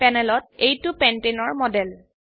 প্যানেলত এইটো পেণ্টানে পেন্টেন এৰ মডেল